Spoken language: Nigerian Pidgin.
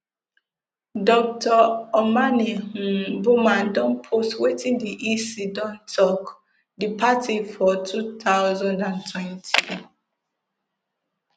dr omane um boamah don post wetin di ec don tok di party for two thousand and twenty